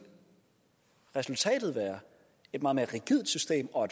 resultatet være et meget mere rigidt system og